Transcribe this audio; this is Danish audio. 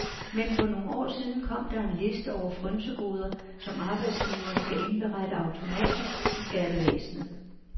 Men for nogle år siden kom der er liste over frynsegoder, som arbejdsgiveren skal indberette automatisk til skattevæsenet.